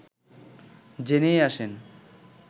জেনেই আসেন